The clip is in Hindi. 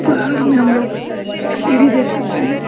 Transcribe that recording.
बाहर में हम लोग एक सीढ़ी देख सकते हैं।